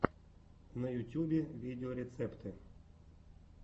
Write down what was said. на ютьюбе видеорецепты